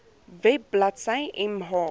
web bladsy mh